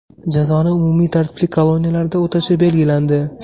Jazoni umumiy tartibli koloniyalarda o‘tashi belgilandi.